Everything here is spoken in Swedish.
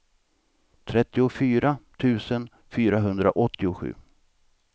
trettiofyra tusen fyrahundraåttiosju